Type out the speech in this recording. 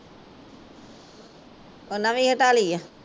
ਓਹਨਾਂ ਵੀ ਹਟਾ ਲਈ ਆ